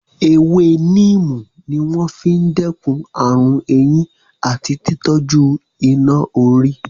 Ewé níìmù ní wọ́n fi n dẹ́kun ààrùn eyín àti tí tọ́jú iná-orí